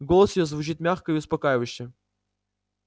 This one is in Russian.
голос его звучит мягко и успокаивающе